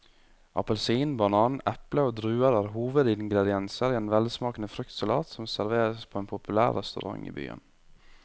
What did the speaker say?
Appelsin, banan, eple og druer er hovedingredienser i en velsmakende fruktsalat som serveres på en populær restaurant i byen.